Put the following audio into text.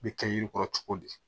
Bɛ kɛ yiri kɔrɔ cogo di